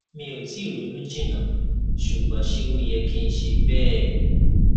mi o tii ronu jinna sugbon se o ye ki n se bee